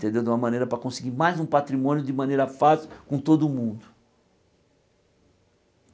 Entendeu de uma maneira para conseguir mais um patrimônio de maneira fácil com todo mundo.